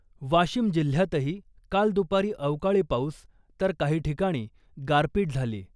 वाशिम जिल्ह्यातही काल दुपारी अवकाळी पाऊस , तर काही ठिकाणी गारपीट झाली .